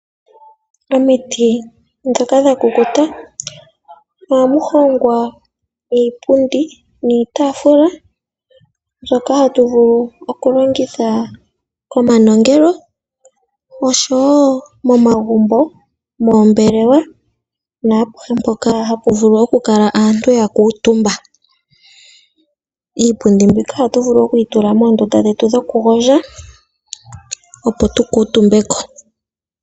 Omiti ndhoka dha kukuta ohamu hongwa iipundi niitaafula mbyoka hatu vulu okulongitha komanongelo oshowo momagumbo , moombelewa naapuhe mpoka hapu vulu okukala aantu ya kuutumba . Iipundi mbika oto vulu okuyi tula moondunda dhetu dhokugondja opo tukuutumbe ko.